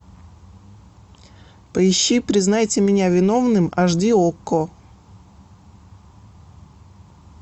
поищи признайте меня виновным аш ди окко